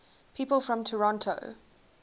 people from toronto